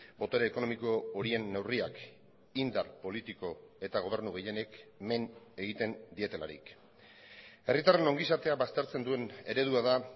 botere ekonomiko horien neurriak indar politiko eta gobernu gehienek men egiten dietelarik herritarren ongizatea baztertzen duen eredua da